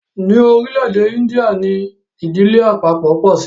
ní orílé èdè India ní Ìdílé àpapo po sí.